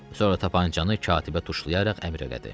Sonra tapançanı katibə tuşlayaraq əmr elədi.